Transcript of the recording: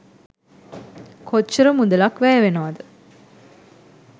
කොච්චර මුදලක් වැය වෙනවද?